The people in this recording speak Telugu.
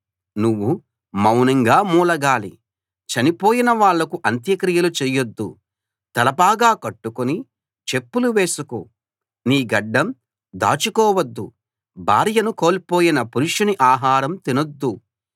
నువ్వు మౌనంగా మూలగాలి చనిపోయిన వాళ్లకు అంత్యక్రియలు చెయ్యొద్దు తలపాగా కట్టుకుని చెప్పులు వేసుకో నీ గడ్డం దాచుకోవద్దు భార్యను కోల్పోయిన పురుషుని ఆహారం తినొద్దు